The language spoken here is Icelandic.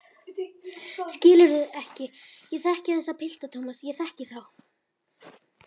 Skilurðu ekki, ég þekki þessa pilta, Thomas, ég þekki þá.